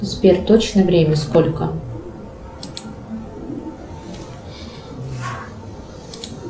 сбер точное время сколько